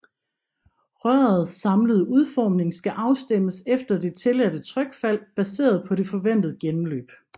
Rørets samlede udformning skal afstemmes efter det tilladte trykfald baseret på det forventede gennemløb